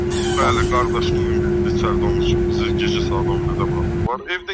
Bəli, qardaş, bu gün biz içəridə olmuşuq, bizi gecə saat 11-də buraxıblar.